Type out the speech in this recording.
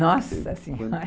Nossa senhora!